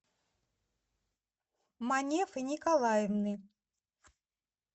манефы николаевны